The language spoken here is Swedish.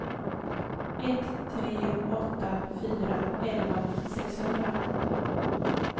ett tre åtta fyra elva sexhundra